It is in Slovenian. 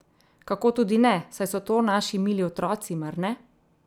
Kako tudi ne, saj so to naši mili otroci, mar ne?